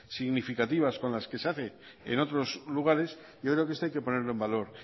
significativas con las que se hace en otros lugares yo creo que esto hay que ponerlo en valor